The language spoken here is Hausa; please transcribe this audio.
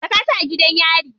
Saka su a gidan yari.